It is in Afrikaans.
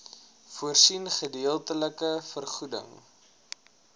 voorsien gedeeltelike vergoeding